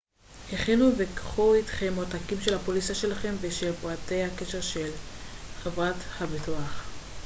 הכינו וקחו איתכם עותקים של הפוליסה שלכם ושל פרטי הקשר של חברת הביטוח